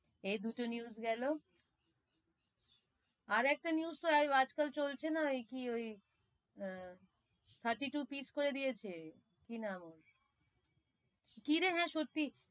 এই দুটো news গেলো আর একটা news তো ওই আজ কাল চলছে না, কি ওই উম thirty-two piece করে দিয়েছে, কি নাম ওর? কি রে হাঁ সত্যি?